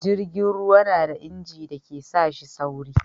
jirgin ruwa na da inji da ke sa shi sauri